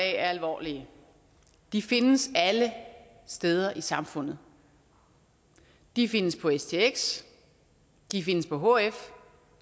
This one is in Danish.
er alvorlige de findes alle steder i samfundet de findes på stx de findes på hf